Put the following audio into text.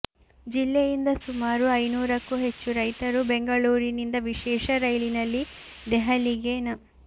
ಜಿಲ್ಲೆಯಿಂದ ಸುಮಾರು ಐನೂರಕ್ಕೂ ಹೆಚ್ಚು ರೈತರು ಬೆಂಗಳೂರಿನಿಂದ ವಿಶೇಷ ರೈಲಿನಲ್ಲಿ ದೆಹಲಿಗೆ ನ